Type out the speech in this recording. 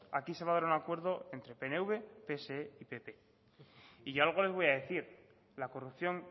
aquí se va a dar un acuerdo entre pnv pse y pp y yo algo les voy a decir la corrupción